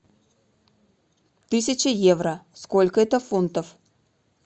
тысяча евро сколько это фунтов